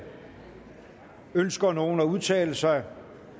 ønsker nogen at udtale sig